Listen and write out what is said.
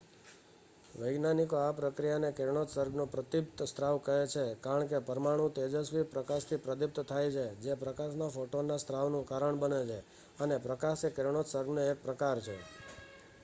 "વૈજ્ઞાનિકો આ પ્રકિયાને "કિરણોત્સર્ગનો પ્રદીપ્ત સ્ત્રાવ" કહે છે કારણ કે પરમાણુઓ તેજસ્વી પ્રકાશથી પ્રદીપ્ત થાય છે જે પ્રકાશના ફોટોનનાં સ્ત્રાવનું કારણ બને છે અને પ્રકાશ એ કિરણોત્સર્ગનો એક પ્રકાર છે.